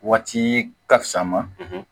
Waati ka fisa ma